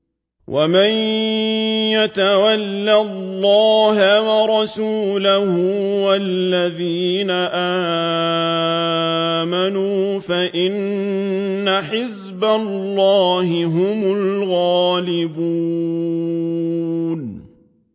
وَمَن يَتَوَلَّ اللَّهَ وَرَسُولَهُ وَالَّذِينَ آمَنُوا فَإِنَّ حِزْبَ اللَّهِ هُمُ الْغَالِبُونَ